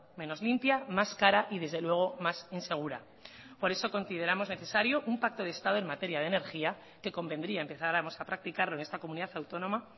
menos limpia más cara y desde luego más insegura por eso consideramos necesario un pacto de estado en materia de energía que convendría empezáramos a practicarlo en esta comunidad autónoma